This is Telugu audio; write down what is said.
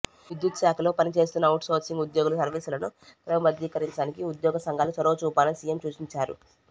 విద్యుత్ శాఖలో పని చేస్తున్న అవుట్ సోర్సింగ్ ఉద్యోగుల సర్వీసులను క్రమబద్దీకరించడానికి ఉద్యోగ సంఘాలు చొరవ చూపాలని సిఎం సూచించారు